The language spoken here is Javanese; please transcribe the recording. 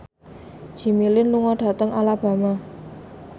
Jimmy Lin lunga dhateng Alabama